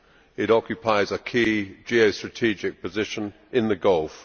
it occupies a key geostrategic position in the Gulf.